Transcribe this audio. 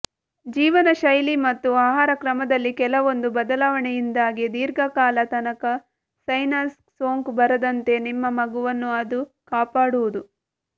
ಜೀವನಶೈಲಿ ಮತ್ತು ಆಹಾರ ಕ್ರಮದಲ್ಲಿ ಕೆಲವೊಂದು ಬದಲಾವಣೆಯಿಂದಾಗಿ ದೀರ್ಘಕಾಲ ತನಕ ಸೈನಸ್ ಸೋಂಕು ಬರದಂತೆ ನಿಮ್ಮ ಮಗುವನ್ನು ಅದು ಕಾಪಾಡುವುದು